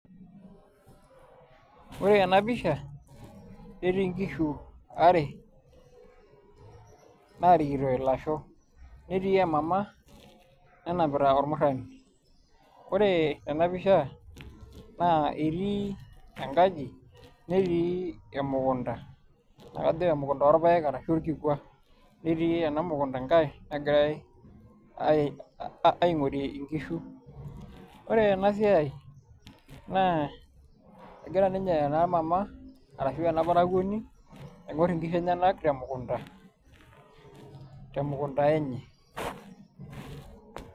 Ore ena pisha netii nkishu are naarikito ilasho netii emama nanapita ormurrani, ore ena pisha naa etii enkaji netii emukunda naa akajo emukunda orpaek arashu orkikua netii ena mukunda nkae nagirai aing'orie nkishu. Ore ena siai egira ninye ena mama arashu ena parakuoni aing'orr nkishu enyenak temukunda temukunda enye.